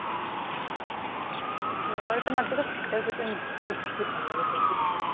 ମୋର ତ ମତେ ତ winter season ବହୁତ ହି ଭଲ ଲାଗେ ବହୁତ ବହୁତ